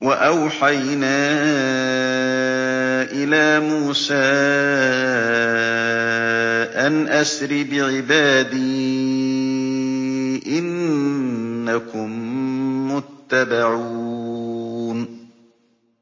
۞ وَأَوْحَيْنَا إِلَىٰ مُوسَىٰ أَنْ أَسْرِ بِعِبَادِي إِنَّكُم مُّتَّبَعُونَ